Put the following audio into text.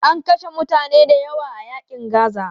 An kashe mutane dayawa a yaƙin Gaza.